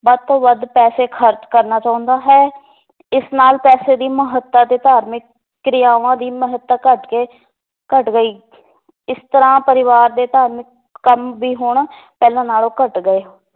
ਵੱਧ ਤੋਂ ਵੱਧ ਪੈਸੇ ਖਰਚ ਕਰਨਾ ਚਾਹੁੰਦਾ ਹੈ ਇਸ ਨਾਲ ਪੈਸੇ ਦੀ ਮਹੱਤਤਾ ਤੇ ਧਾਰਮਿਕ ਕ੍ਰਿਆਵਾਂ ਦੀ ਮਹੱਤਤਾ ਘੱਟ ਕੇ ਘੱਟ ਗਈ ਇਸ ਤਰ੍ਹਾਂ ਪਰਿਵਾਰ ਦੇ ਧਾਰਮਿਕ ਕੰਮ ਵੀ ਹੁਣ ਪਹਿਲਾਂ ਨਾਲੋਂ ਘੱਟ ਗਏ